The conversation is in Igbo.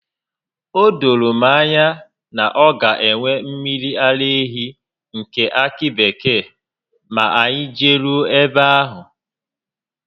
O doro m anya na ọ ga enwe mmiri ara ehi nke akị bekee ma anyị jeruo ebe ahụ